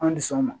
An dus'anw ma